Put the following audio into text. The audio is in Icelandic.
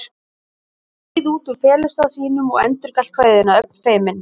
Hann skreið út úr felustað sínum og endurgalt kveðjuna, ögn feiminn.